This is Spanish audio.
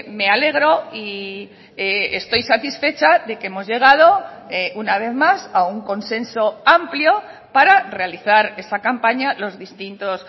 me alegro y estoy satisfecha de que hemos llegado una vez más a un consenso amplio para realizar esa campaña los distintos